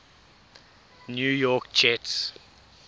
new york jets